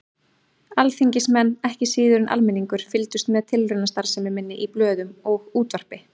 Alþingismenn, ekki síður en almenningur, fylgdust með tilraunastarfsemi minni í blöðum og útvarpi.